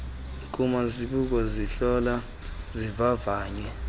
kumazibuko zihlola zivavanye